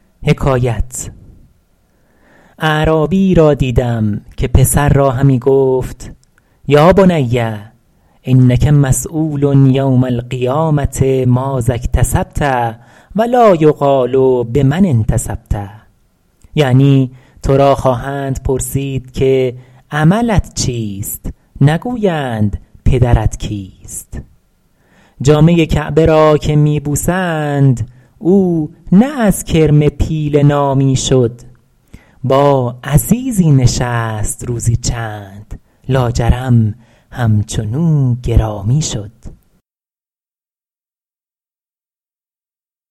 اعرابیی را دیدم که پسر را همی گفت یا بنی انک مسیول یوم القیامة ماذا اکتسبت و لا یقال بمن انتسبت یعنی تو را خواهند پرسید که عملت چیست نگویند پدرت کیست جامه کعبه را که می بوسند او نه از کرم پیله نامی شد با عزیزی نشست روزی چند لاجرم همچنو گرامی شد